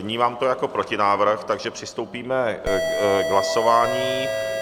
Vnímám to jako protinávrh, takže přistoupíme k hlasování.